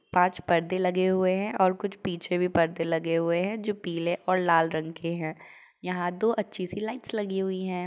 पांच पर्दे लगे हुए हैं और कुछ पीछे भी पर्दे लगे हुए हैं जो पीले और लाल रंग के हैं। यहाँ दो अच्छी सी लाइट्स लगी हुई हैं।